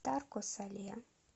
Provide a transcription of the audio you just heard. тарко сале